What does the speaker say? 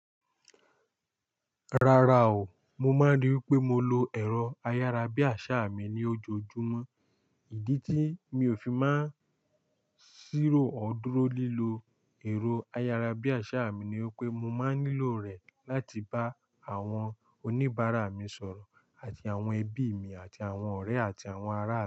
Rara o, mo máa ń rí wipé mo lo ẹ̀rọ ayárabíàṣá mi ní ojoojúmọ́. Ìdí tí mi ò fi máa ń ṣírò ọ́r dúró lílo ẹ̀rọ ayárabíàṣá mi ni wipé mo máa ń nílò rẹ̀ láti bá àwọn oníbàárà mi sọ̀rọ̀ àti àwọn ẹbí mi àti àwọn ọ̀rẹ́ àti àwọn ará.